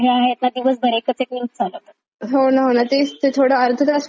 होणं होणं. तेच ते थोडं अर्धा तास पाहिलं कि आपल्याला सगळ्या घडामोडी कळून जातात.